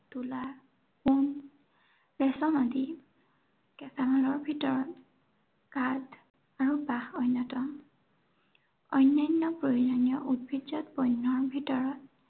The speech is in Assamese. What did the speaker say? তুলা, ৰেচম আদি কেঁচা মালৰ ভিতৰত কাঠ আৰু বাঁহ অন্য়তম। অন্য়ান্য় প্ৰয়োজনীয় উদ্ভিদজাত বণ্য়ৰ ভিতৰত